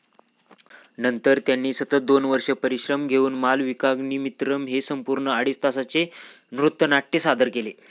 नंतर त्यांनी सतत दोन वर्षे परिश्रम घेऊन मालविकाग्निमित्रम हे संपूर्ण अडीच तासांचे नृत्यानाट्य सदर केले.